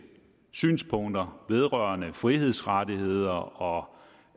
synspunkter vedrørende frihedsrettigheder og